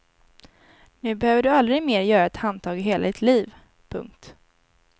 Nu behöver du aldrig mer göra ett handtag i hela ditt liv. punkt